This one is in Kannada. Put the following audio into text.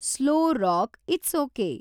Slow rock it's okay.